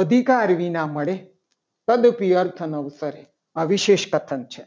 અધિકાર વિના મળે. આ વિશેષ કથન છે.